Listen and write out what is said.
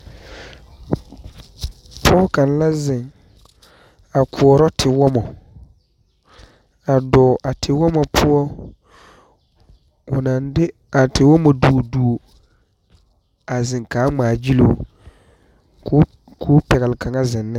Pɔge kaŋa la zeŋ a koɔrɔ tewɔmɔ, a dɔɔ a tewɔmɔ poɔ o naŋ de a tewɔmɔ duori duori a zeŋ ka a ŋmaa gyɛli o koɔ pɛgeli kaŋa zeŋ ne.